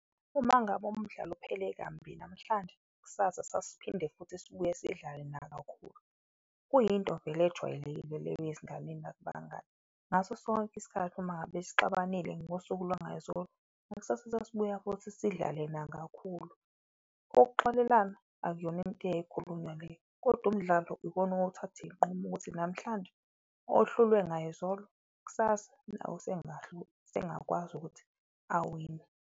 Uma ngabe umdlalo uphele kambi namhlanje kusasa sasiphinde futhi sibuye sidlale nakakhulu, kuyinto vele ejwayelekile leyo ezinganeni nakubangani. Ngaso sonke isikhathi uma ngabe sixabanile ngosuku lwangayizilo ngakusasa sesibuya futhi sidlale nakakhulu, ukuxolelana akuyona into eyayikhulunywa leyo. Kodwa umdlalo ikona owawuthatha iyinqumo ukuthi namhlanje ohlulwe ngayizolo, kusasa usengakwazi ukuthi awine.